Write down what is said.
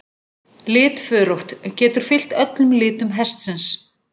Litförótt: Getur fylgt öllum litum hestsins.